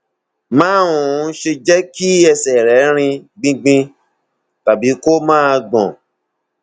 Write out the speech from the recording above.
má um ṣe jẹ kí ẹsẹ rẹ rin gbingbin tàbí kó máa gbọn